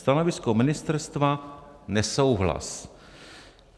Stanovisko ministerstva: nesouhlas.